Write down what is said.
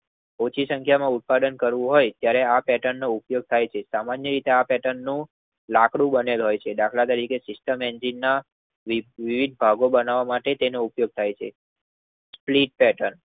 ઓછી સંખ્યાનું ઉત્પાદન કરવું હોય ત્યરે આ પેટનનો ઉપયોગ થાય છે. સામાન્ય રીતે આ પેર્ટનનું લાકડું દાખલ તરીકે સિસ્ટમ એન્જીનના વિવિધ ભાગો બનાવ માટે તેનો ઉપયોગ થાય છે. ટેકર